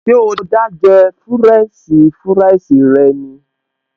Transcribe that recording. Ṣé o dá jẹ fúrẹ́ǹṣì fúráìsì rẹ ni?